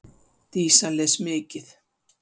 Dísa les mikið.